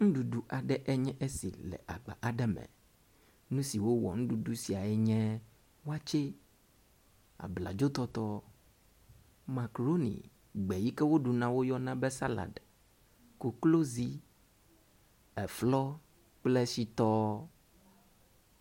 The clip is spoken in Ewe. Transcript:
Nuɖuɖu aɖe enye esi le agba aɖe me. Nu siwo wɔ nuɖuɖu siae nye wakye, abladzotɔtɔ, makrooni, gbe yi ke woɖuna woyɔna be salad, koklozii, eflɔ kple shitɔɔ.